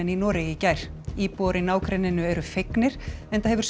í Noregi í gær íbúar í nágrenninu eru fegnir enda hefur